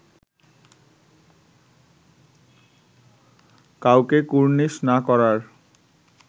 কাউকে কুর্নিশ না করার